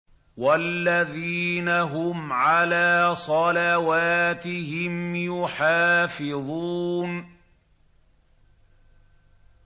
وَالَّذِينَ هُمْ عَلَىٰ صَلَوَاتِهِمْ يُحَافِظُونَ